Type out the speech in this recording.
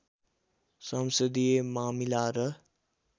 संसदीय मामिला र